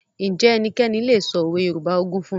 Ǹjẹ́ ẹnikẹ́ni lè sọ òwe Yorùbá ogún fún mi?